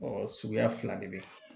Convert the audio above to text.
suguya fila de bɛ